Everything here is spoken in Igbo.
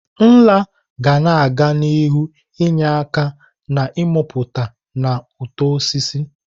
Nla ga-aga n'ihu na-enye aka n'ịmụpụta na uto osisi.